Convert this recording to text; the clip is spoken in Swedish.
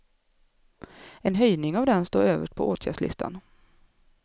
En höjning av den står överst på åtgärdslistan.